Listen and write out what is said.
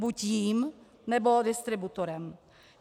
Buď jím, nebo distributorem.